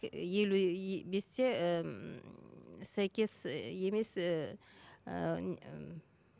елу і бесте ммм сәйкес і емес